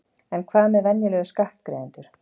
En hvað með venjulega skattgreiðendur?